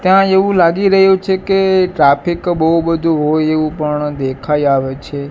ત્યાં એવુ લાગી રહ્યું છે કે ટ્રાફિક બોવ બધું હોય એવુ પણ દેખાય આવે છે.